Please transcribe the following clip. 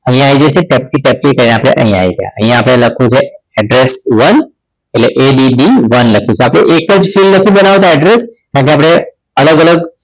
અહીંયા આવી જઈએ કે પછી F three કરીને આપણે અહીંયા આવી ગયા. અહીંયા આપણે લખ્યું છે address one એટલે ABD one લખીશું આપણે એક જ ફેર નથી બનાવતા address કારણકે આપણે અલગ અલગ